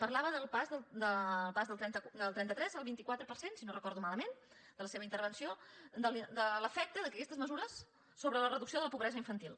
parlava del pas del trenta tres al vint quatre per cent si no ho recordo malament de la seva intervenció de l’efecte d’aquestes mesures sobre la reducció de la pobresa infantil